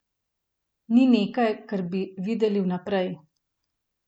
Ni nekaj, kar bi videli vnaprej.